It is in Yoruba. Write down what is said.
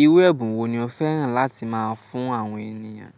Iru ẹ̀bùn wò ní o fẹ́ràn láti máa fún àwọn ènìyàn? E